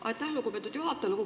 Aitäh, lugupeetud juhataja!